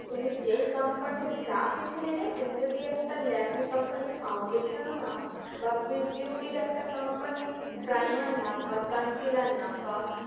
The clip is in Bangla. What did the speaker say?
তুমি যেই company র যা কিছু নেবে, তুমি যদি একটা ল্যাকমি company র foundation ও নাও বা সুইস বিউটির একটা company র primer নাও বা concealer নাও বা